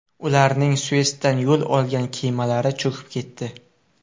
Ularning Suetsdan yo‘l olgan kemalari cho‘kib ketdi.